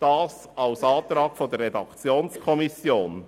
Dies auf Antrag der Redaktionskommission.